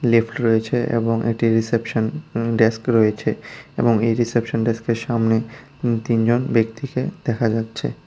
Lift রয়েছে এবং এটি রিসেপশন ডেস্ক রয়েছে এবং এই রিসেপশন ডেস্কের সামনে তিনজন ব্যক্তিকে দেখা যাচ্ছে।